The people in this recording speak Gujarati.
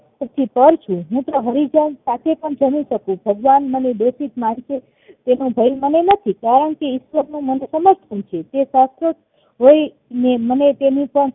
પાર છું હૂતો હરિજન સાથે પણ જમી શકું ભગવાન મને તેનો ભય મને નથી કારણકે ઈશ્વર નું મને સમર્થન છે હોય ને મને તેમને સંગ